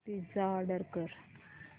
pizza order कर